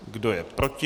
Kdo je proti?